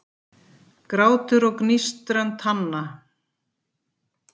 Grátur og gnístran tanna